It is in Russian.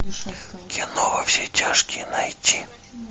кино во все тяжкие найти